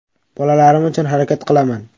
Bolalarim uchun harakat qilaman.